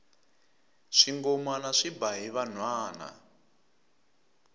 swingomana swi ba hi vanhwana